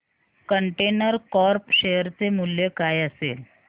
container corp share चे मूल्य काय असेल